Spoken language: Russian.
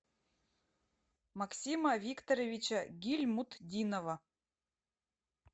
максима викторовича гильмутдинова